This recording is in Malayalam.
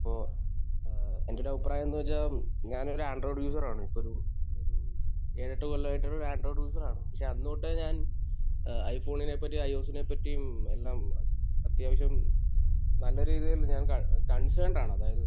ഓഹ്. ഏഹ് എന്റെ ഒരു അഭിപ്രായം എന്താണെന്ന് വെച്ചാൽ, ഞാനൊരു ആൻഡ്രോയിഡ് യൂസർ ആണ്. ഇപ്പോൾ ഒരു ഒരു ഏഴ്, എട്ട് കൊല്ലമായിട്ട് ആൻഡ്രോയിഡ് യൂസർ ആണ്. പക്ഷെ അന്ന് തൊട്ടേ ഞാൻ ഏഹ് ഐഫോണിനെ പറ്റിയും ഐ.ഒ.എസിനെ പറ്റിയും എല്ലാം അത്യാവശ്യം നല്ല രീതിയിൽ ഞാൻ കൺ...കൺസേണ്ട് ആണ്. അതായത്